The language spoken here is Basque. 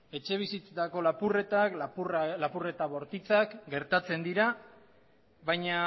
etxebizitzetako lapurretak lapurretak bortitzak etabar gertatzen dira baina